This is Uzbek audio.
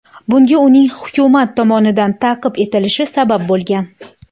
Bunga uning hukumat tomonidan ta’qib etilishi sabab bo‘lgan.